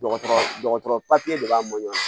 Dɔgɔtɔrɔ dɔgɔtɔrɔ de b'a ɲan